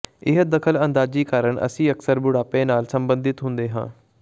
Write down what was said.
ਇਹ ਦਖ਼ਲਅੰਦਾਜ਼ੀ ਕਾਰਨ ਅਸੀਂ ਅਕਸਰ ਬੁਢਾਪੇ ਨਾਲ ਸੰਬੰਧਿਤ ਹੁੰਦੇ ਹਾਂ